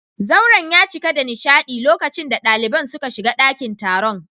Zauren ya cika da nishadi lokacin da daliban suka shiga dakin taron